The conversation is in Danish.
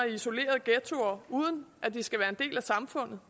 i isolerede ghettoer uden at de skal være en del af samfundet